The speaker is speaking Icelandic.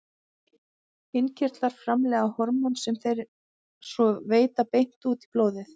Innkirtlar framleiða hormón sem þeir svo veita beint út í blóðið.